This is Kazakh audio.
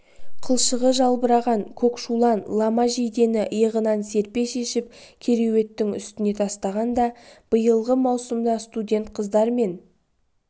қылшығы жалбыраған көкшулан лама жейдені иығынан серпе шешіп кереуеттің үстіне тастағанда биылғы маусымда студент қыздар мен